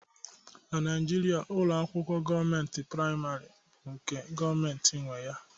Na Naijiria, ụlọ akwụkwọ gọọmentị praịmarị bụ nke gọọmentị nwe ya